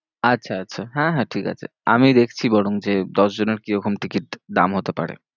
আচ্ছা, আচ্ছা হ্যাঁ হ্যাঁ ঠিক আছে, আমি দেখছি বরঞ্চ এ দশজনের কিরকম ticket দাম হতে পারে।